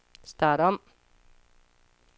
start om